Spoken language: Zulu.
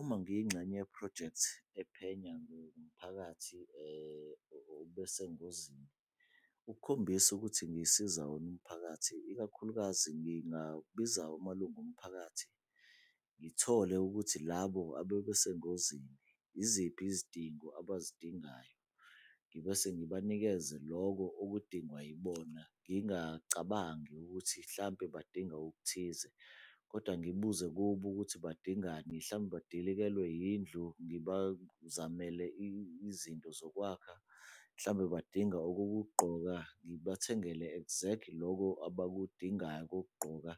Uma ngiyingxenye yephrojekthi ephenya ngomphakathi obesengozini. Ukukhombisa ukuthi ngisiza wona umphakathi, ikakhulukazi ngingabiza amalungu omphakathi ngithole ukuthi labo abebesengozini iziphi izidingo abazidingayo. Ngibese ngibanikeze loko okudingwa yibona, ngingacabangi ukuthi hlampe badinga okuthize kodwa ngibuze kubo ukuthi badingani, hlambe badilikelwe yindlu ngibazamele izinto zokwakha, hlambe badinga okokugqoka ngibathengele exactly loko abakudingayo okokugqoka